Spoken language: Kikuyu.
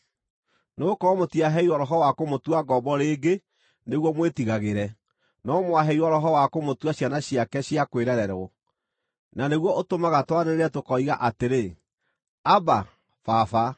Nĩgũkorwo mũtiaheirwo roho wa kũmũtua ngombo rĩngĩ nĩguo mwĩtigagĩre, no mwaheirwo Roho wa kũmũtua ciana ciake cia kwĩrererwo. Na nĩguo ũtũmaga twanĩrĩre tũkoiga atĩrĩ, “Abba, Baba.”